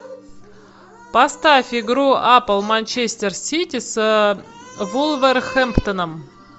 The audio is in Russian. поставь игру апл манчестер сити с вулверхэмптоном